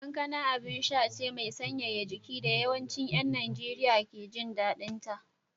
Kankana abinsha ce mai sanyaya jiki da yawancin ‘yan Najeriya ke jin daɗinta